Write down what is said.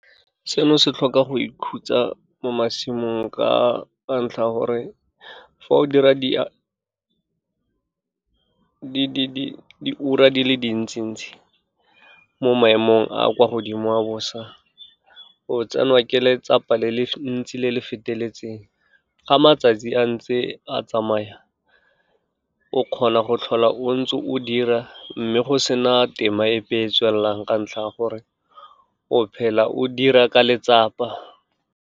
Seno se tlhoka go ikhutsa mo masimong ka ntlha ya gore fa o dira diura di le dintsi ntsi mo maemong a kwa godimo a bosa, o tsenwa ke letsapa le le ntsi, le le feteletseng, ga matsatsi a ntse a tsamaya, o kgona go tlhola o ntse o dira, mme go sena tema epe e tswelelang ka ntlha ya gore, o phela o dira ka letsapa.